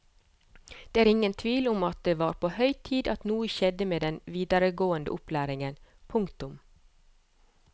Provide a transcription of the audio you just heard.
Det er ingen tvil om at det var på høy tid at noe skjedde med den videregående opplæringen. punktum